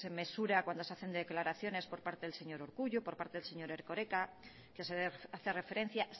mesura cuando se hacen declaraciones por parte del señor urkullu por parte del señor erkoreka que se hace referencia